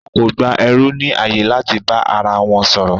Wọn kò gba ẹrú ní ààyè láti bá ara wọn sọ̀rọ̀